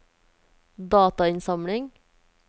datainnsamling